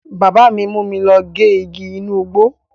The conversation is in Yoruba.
Bábà mi mú mi lọ gé igi inú igbó.